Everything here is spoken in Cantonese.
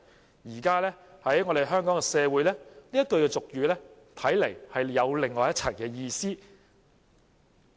在現今香港社會，這句俗語看來另有一番意思。